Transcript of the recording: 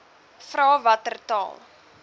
vra watter taal